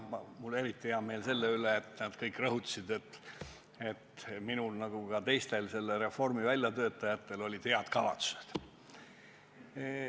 Mul on eriti hea meel selle üle, et nad kõik rõhutasid, et minul ja ka teistel selle reformi väljatöötajatel olid head kavatsused.